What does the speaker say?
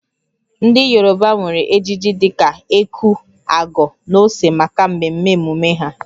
Ndị Yoruba nwere ejiji dị ka eku/ago na ose maka mmemme emume ha